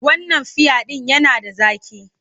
Wannan fiya ɗin yana da zaƙi.